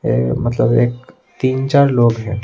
ये मतलब एक तीन-चार लोग हैं।